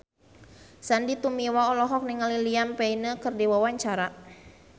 Sandy Tumiwa olohok ningali Liam Payne keur diwawancara